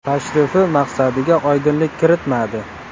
Tashrifi maqsadiga oydinlik kiritmadi.